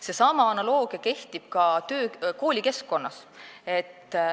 Seesama analoogia kehtib ka koolikeskkonnas.